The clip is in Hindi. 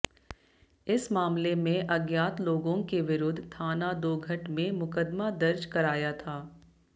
इस मामले में अज्ञात लोगों के विरुद्ध थाना दोघट में मुकदमा दर्ज कराया था